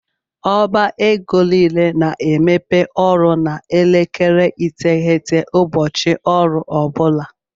Ọba égo niile na - emepe ọrụ na elekere iteghete ụbọchị ọrụ ọbula.